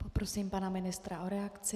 Poprosím pana ministra o reakci.